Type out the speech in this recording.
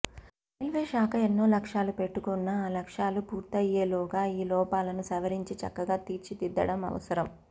railway శాఖ ఎన్నో లక్ష్యాలు పెట్టుకున్నా ఆ లక్ష్యాలు పూర్తయ్యేలోగా ఈ లోపాలను సవరించి చక్కగా తీర్చిదిద్దడం అవసరం